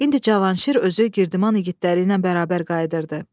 İndi Cavanşir özü Girdiman igidləri ilə bərabər qayıdırdı.